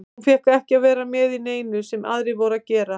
Hún fékk ekki að vera með í neinu sem aðrir voru að gera.